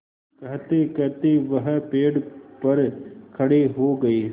कहतेकहते वह पेड़ पर खड़े हो गए